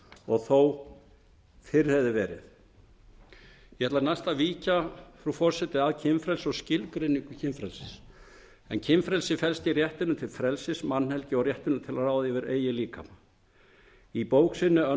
og þó fyrr hefði verið ég ætla næst að víkja frú forseti að kynfrelsi og skilgreiningu kynfrelsis en kynfrelsi felst í réttinum til frelsis mannhelgi og réttinum til að ráða yfir eigin líkama í bók sinni